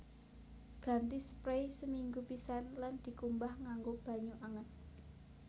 Ganti sprei seminggu pisan lan dikumbah nganggo banyu anget